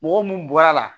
Mɔgɔ mun bɔra la